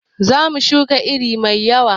Zamu shuka iri mai yawa